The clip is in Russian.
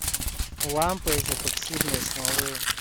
лампа из эпоксидной смолы